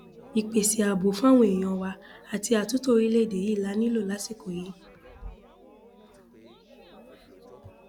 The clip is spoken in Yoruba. ìpèsè ààbò fáwọn èèyàn wa àti àtúntò orílẹèdè yìí la nílò lásìkò yìí